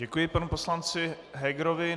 Děkuji panu poslanci Hegerovi.